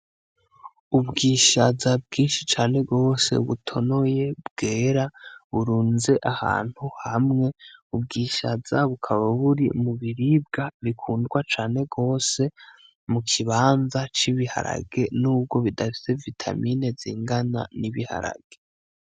Ubwishaza bwinshi cane gose butonoye bwera burunze ahantu hamwe. Ubwishaza bukaba buri mu biribwa bikundwa cane gose mu kibanza c'ibiharage n'ubwo bidafise vitamini zingana n'ibiharage.